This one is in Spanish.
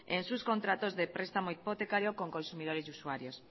en sus contratos de prestamos hipotecario con consumidores y usuarios